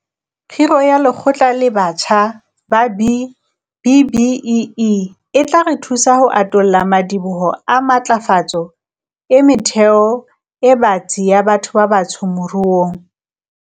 Kgiro ya Lekgotla le letjha la B-BBEE e tla re thusa ho atolla madiboho a matlafatso e metheo e batsi ya batho ba batsho moruong.